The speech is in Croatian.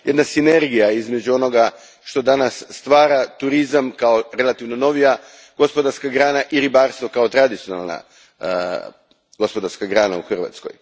Jedna sinergija između onog što danas stvara turizam, kao relativno novija gospodarska grana, i ribarstvo kao tradicionalna gospodarska grana u Hrvatskoj.